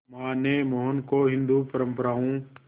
मां ने मोहन को हिंदू परंपराओं